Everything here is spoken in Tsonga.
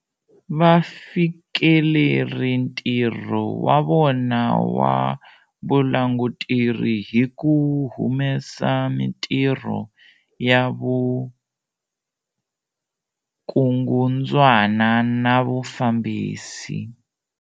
Va fikeleri ntirho wa vona wa vulanguteri hi ku humesa mitirho ya vukungundzwana na vufambisi.